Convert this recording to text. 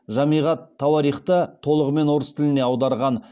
жамиғ ат тауарихты толығымен орыс тіліне аударған